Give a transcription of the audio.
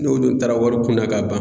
N'o dun taara wari kunbɛn ka ban